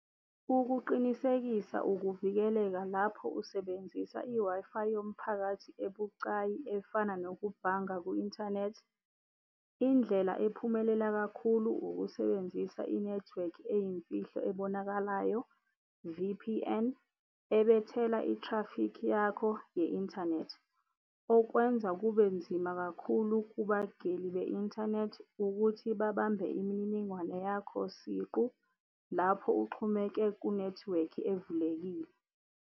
Ukuqinisekisa ukuvikeleka lapho usebenzisa i-Wi-Fi yomphakathi ebucayi efana nokubhanga kwi-inthanethi. Indlela ephumelela kakhulu ukusebenzisa i-network eyimfihlo ebonakalayo, V_P_N, ebethela i-traffic yakho ye-inthanethi, okwenza kube nzima khakhulu kubagili be-inthanethi ukuthi babambe imininingwane yakho siqu lapho uxhumeke ku-network evulekile.